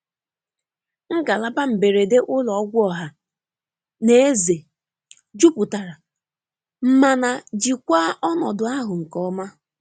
Ngalaba mberede ụlọ ọgwụ ọha na eze juputara mana jikwaa ọnọdụ ahụ nke ọma.